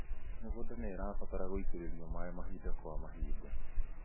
Mĩgũnda nĩĩabatara gũitĩrĩrio maĩ mahinda kwa mahinda